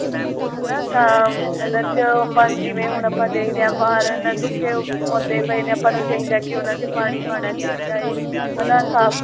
ਹਨਾ ਤਾਂ ਇਹਨਾ ਚ ਆਪਾਂ ਜਿਵੇਂ ਹੁਣ ਆਪਾਂ ਦੇਖਦੇ ਹਾਂ ਬਾਹਰ ਨਾ ਸੁੱਕੇ ਪੌਦੇ ਪਏ ਨੇ ਆਪਾਂ ਨੂੰ ਚਾਹੀਦਾ ਕਿ ਉਹਨਾ ਚ ਪਾਣੀ ਪਾਉਣਾ ਚਾਹੀਦਾ ਏ ਹਨਾ ਸਾਫ਼